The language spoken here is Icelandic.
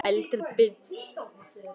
Sá eldri Bill.